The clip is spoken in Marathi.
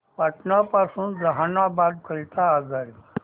पटना पासून जहानाबाद करीता आगगाडी